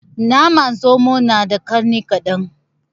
Naman zomo na da ƙarni kaɗan